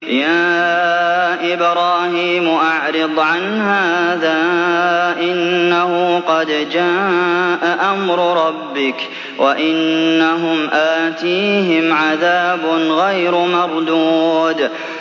يَا إِبْرَاهِيمُ أَعْرِضْ عَنْ هَٰذَا ۖ إِنَّهُ قَدْ جَاءَ أَمْرُ رَبِّكَ ۖ وَإِنَّهُمْ آتِيهِمْ عَذَابٌ غَيْرُ مَرْدُودٍ